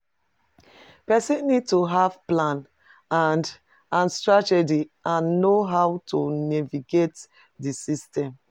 Pesin need to have plan and strategy and know how to navigate di system.